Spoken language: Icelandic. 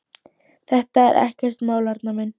Þetta er ekkert mál, Arnar minn.